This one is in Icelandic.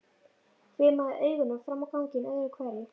Hvimaði augunum fram á ganginn öðru hverju.